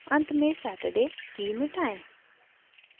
अंत में saturday की मिटायें